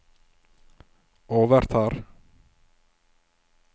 overtar